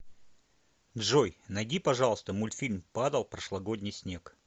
джой найди пожалуйста мультфильм падал прошлогодний снег